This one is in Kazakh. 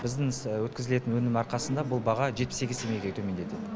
біздің өткізілетін өнім арқасында бұл баға жетпіс сегіз теңгеге төмендеді